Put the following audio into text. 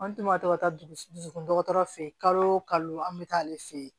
An dun ka to ka taa dugu dɔgɔtɔrɔ fɛ yen kalo an bɛ taa ale fɛ yen